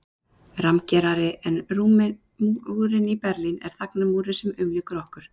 Rammgerari en múrinn í Berlín er þagnarmúrinn sem umlykur okkur